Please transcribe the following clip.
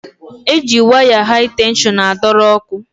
E ji waya hai tenshọn a dọrọ ọkụ.